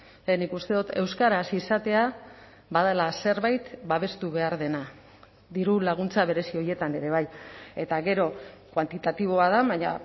eta nik uste dut euskaraz izatea badela zerbait babestu behar dena dirulaguntza berezi horietan ere bai eta gero kuantitatiboa da baina